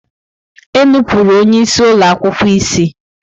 Enupụrụ onye isi ụlọ akwụkwọ isi!